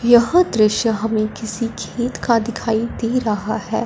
यह दृश्य हमें किसी खेत का दिखाई दे रहा है।